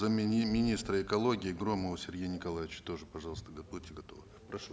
зам министра экологии громову сергею николаевичу тоже пожалуйста будьте готовы прошу